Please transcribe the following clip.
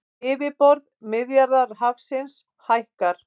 Yfirborð Miðjarðarhafsins hækkar